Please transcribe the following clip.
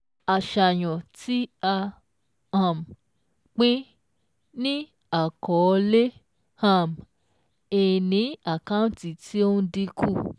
Àṣàyàn tí a um pín ní àkọọ́lẹ̀ um ìní àkántì tí ó ń dínkù.